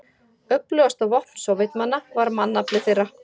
Öflugasta vopn Sovétmanna var mannafli þeirra.